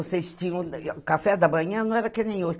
Vocês tinham. O café da manhã não era que nem hoje.